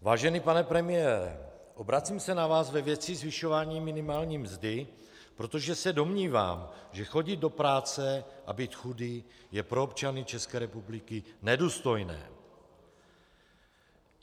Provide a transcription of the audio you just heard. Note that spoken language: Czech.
Vážený pane premiére, obracím se na vás ve věci zvyšování minimální mzdy, protože se domnívám, že chodit do práce a být chudý je pro občany České republiky nedůstojné.